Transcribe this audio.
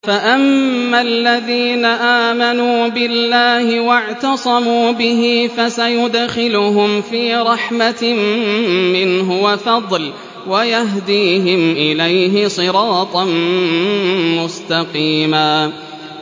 فَأَمَّا الَّذِينَ آمَنُوا بِاللَّهِ وَاعْتَصَمُوا بِهِ فَسَيُدْخِلُهُمْ فِي رَحْمَةٍ مِّنْهُ وَفَضْلٍ وَيَهْدِيهِمْ إِلَيْهِ صِرَاطًا مُّسْتَقِيمًا